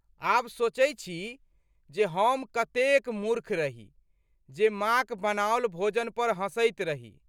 आब सोचै छी जे हम कतेक मूर्ख रही जे माँक बनाओल भोजन पर हँसैत रही।